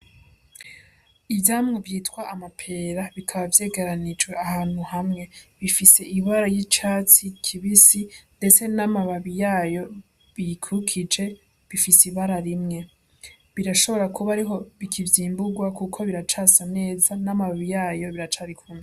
Ivyamwa vyitwa amapera, bikaba vyegeranirijwe ahantu hamwe, bifise ibara ry'icatsi kibisi ndetse n'amababi yayo biyikurikije bifise ibara rimwe. Birashobora kuba ariho bikicimburwa kuko biracasa neza n'amababi yayo biracari kumwe.